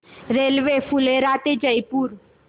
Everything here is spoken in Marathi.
रेल्वे फुलेरा ते जयपूर